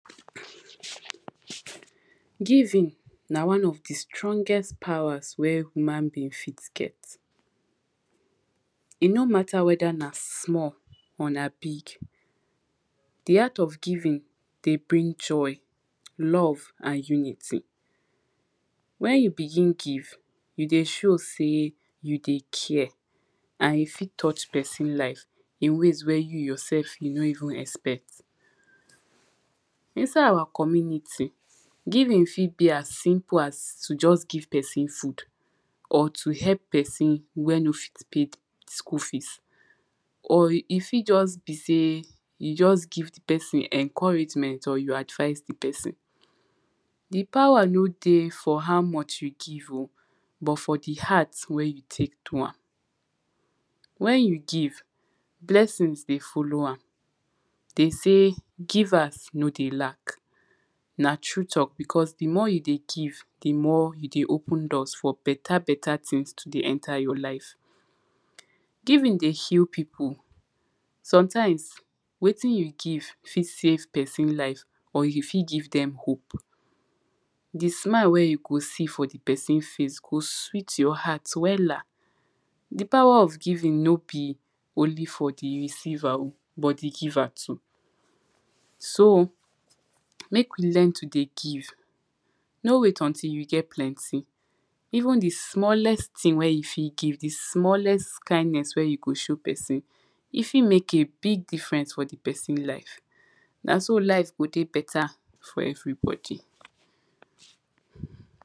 giving na one of di strongest powers wer human being fit get. e no matter whether na small or na big. di heart of giving de bring joy, love and unity. when you begin give, you de show sey you de care and you fit touch person life in weys wey you yourelf you no even expect. inside our community, giving fit be as simple as to just give person food or to help person wer no fit pay school fees. or e fit just be sey you just give di person encouragement or you advice di person. di power no dey for how much you give o but for di heart wer you take do am. when you give, blessings de follow am. dey sey givers no de lack, na true talk because di more you de give, di more you de open doors for better better things to de enta your life. giving de heal pipu. sometimes, wettin you give fit save person life or you fit give dem hope. di smile wer you go see for di person face go sweet your heart wella. di power of giving no be only for di receiver but di giver too. so make we learn to de give. no wait untill you get plenty, even di smallest thing wer you fit give, di smallest kindness were you go show person, e fit make a big difference for di person life. na so life go de better for everybody